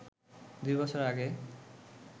দুই বছর আগে